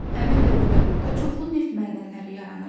Həmin dövrdə burda çoxlu neft mədənləri yaranırdı.